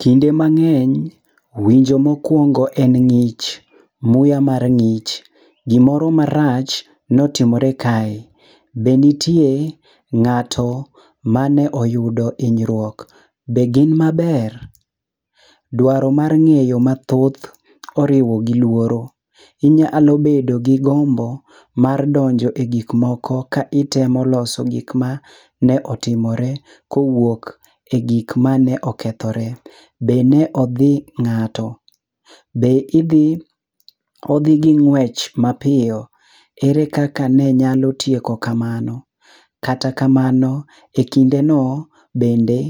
Kinde mang'eny winjo mokwongo en ng'ich. Muya mar ng'ich. Gimoro marach notimore kae. Be nitie ng'ato mane oyudo hinyruok ,be gin maber?. Dwaro mar ng'eyo mathoth oriwo gi lworo. Inyalo bedo gi gombo mar donjo e gikmoko ka itemo loso gik ma ne otimore kowuok e gik mane okethore. Bende odhi ng'ato. Odhi gi ng'wech mapiyo. Ere kaka ne nyalo tieko kamano?. Kata kamano,e kindeno bende